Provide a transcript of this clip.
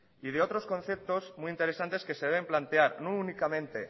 y de otros conceptos muy interesantes que se deben plantear no únicamente